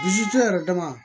Bilisi tɛ yɛrɛ dama